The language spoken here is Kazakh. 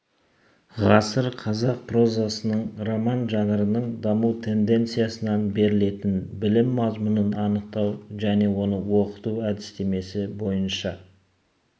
ғасыр қазақ прозасының роман жанрының даму тенденциясынан берілетін білім мазмұнын анықтау және оны оқыту әдістемесі бойынша